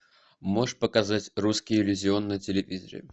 можешь показать русский иллюзион на телевизоре